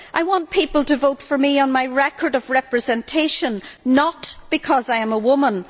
I want people to vote for me on my record of representation, not because I am a woman.